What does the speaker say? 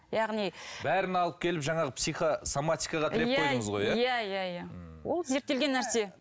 яғни бәрін алып келіп жаңағы психосоматикаға тіреп қойдыңыз ғой иә иә иә ммм ол зерттелген нәрсе